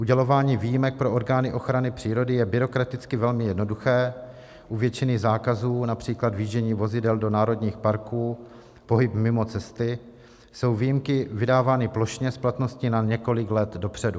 Udělování výjimek pro orgány ochrany přírody je byrokraticky velmi jednoduché, u většiny zákazů, například vjíždění vozidel do národních parků, pohyby mimo cesty jsou výjimky vydávány plošně s platností na několik let dopředu.